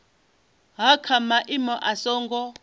ha kha maimo a songo